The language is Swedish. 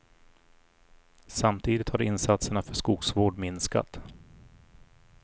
Samtididigt har insatserna för skogsvård minskat.